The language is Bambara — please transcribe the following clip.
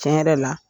Tiɲɛ yɛrɛ la